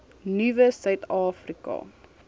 nuwe suid afrika